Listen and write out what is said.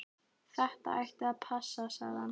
Þetta ætti að passa, sagði hann.